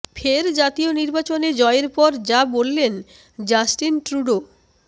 ফের জাতীয় নির্বাচনে জয়ের পর যা বললেন জাস্টিন ট্রুডো